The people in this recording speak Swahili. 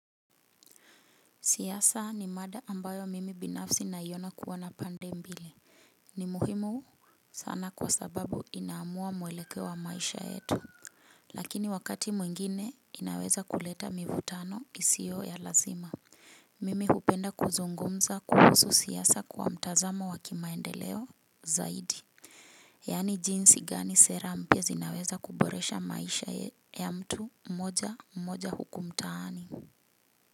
Siasa ni mada ambayo mimi binafsi naiona kuwa na pande mbili. Ni muhimu sana kwa sababu inaamua mwelekeo wa maisha yetu. Lakini wakati mwingine inaweza kuleta mivutano isiyo ya lazima. Mimi hupenda kuzungumza kuhusu siasa kwa mtazamo wa kimaendeleo zaidi. Yaani jinsi gani sera mpya zinaweza kuboresha maisha ya mtu mmoja mmoja huku mtaani.